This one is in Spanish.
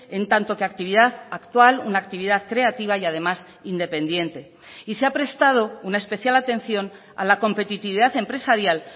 en tanto que actividad actual una actividad creativa y además independiente y se ha prestado una especial atención a la competitividad empresarial